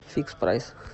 фикспрайс